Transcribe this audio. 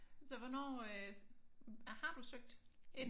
Så hvornår øh har du søgt ind?